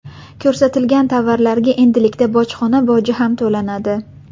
Ko‘rsatilgan tovarlarga endilikda bojxona boji ham to‘lanadi.